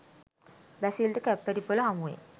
බැසිල්ට කැප්පෙටිපොළ හමුවේ